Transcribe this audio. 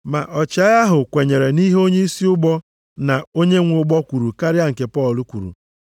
Ma ọchịagha ahụ kwenyere nʼihe onyeisi ụgbọ na onye nwe ụgbọ kwuru karịa nke Pọl kwuru.